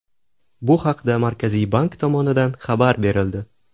Bu haqda Markaziy bank tomonidan xabar berildi .